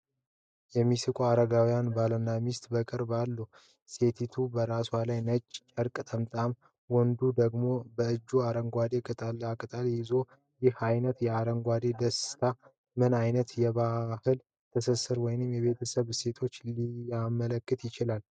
የሚስቁ አረጋውያን ባልና ሚስት በቅርብ አሉ። ሴቲቱ በራሷ ላይ ነጭ ጨርቅ ጠምጥማ፣ ወንዱ ደግሞ በእጁ አረንጓዴ ቅጠላቅጠል ይዟል። ይህ ዓይነቱ የአረጋውያን ደስታ ምን ዓይነት የባህል ትስስር ወይም የቤተሰብ እሴቶችን ሊያመለክት ይችላል?